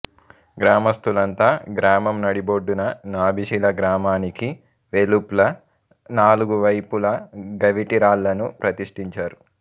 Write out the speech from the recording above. గ్రామస్థులంతా గ్రామం నడిబొడ్డున నాభిశిల గ్రామానికి వెలుప్ల నాలుగువైపులా గవిటి రాళ్ళను ప్రతిష్ఠించారు